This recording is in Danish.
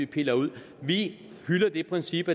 piller ud vi hylder det princip